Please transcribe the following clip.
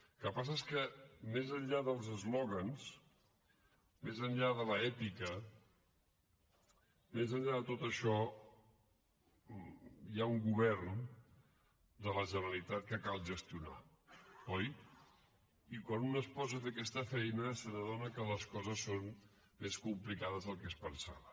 el que passa és que més enllà dels eslògans més enllà de l’èpica més enllà de tot això hi ha un govern de la generalitat que cal gestionar oi i quan un es posa a fer aquesta feina s’adona que les coses són més complicades del que es pensava